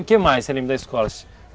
O que mais você lembra da escola?